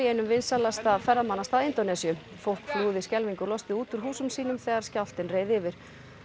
einum vinsælasta ferðamannastað Indónesíu fólk flúði skelfingu lostið út úr húsum sínum þegar skjálftinn reið yfir